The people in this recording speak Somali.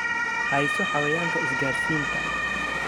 Hayso Xayawaanka Isgaadhsiinta.